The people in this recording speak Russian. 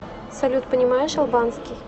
салют понимаешь албанский